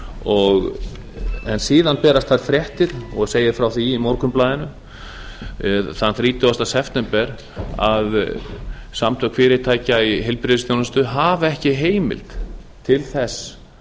október en síðan berast þær fréttir og segir frá því í morgunblaðinu þann þrítugasta september að samtök fyrirtækja í heilbrigðisþjónustu hafi ekki heimild til þess